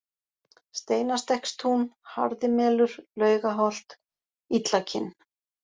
Steinastekkstún, Harðimelur, Laugaholt, Illakinn